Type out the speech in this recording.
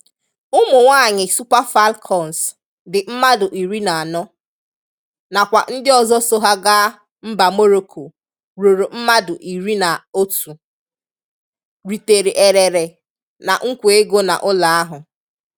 Ụmụ nwanyị Super Falcons dị mmadụ iri na anọ, na kwa ndị ọzọ so ha gáá mba Moroko rụrụ mmadụ iri na otú, ritere éreré na nkwa égo na ụlọ ahụ.